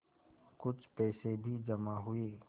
कुछ पैसे भी जमा हुए